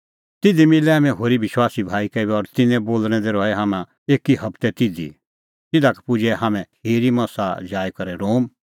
तिधी मिलै हाम्हैं होरी विश्वासी भाई का और तिन्नें बोल़णैं दी रहै हाम्हैं एकी हबतै तिधी तिधा का पुजै हाम्हैं खिरी मसा जाई करै रोम